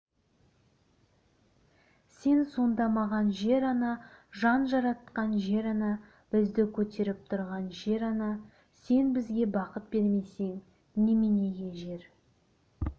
сен сонда маған жер ана жан жаратқан жер-ана бізді көтеріп тұрған жер-ана сен бізге бақыт бермесең неменеге жер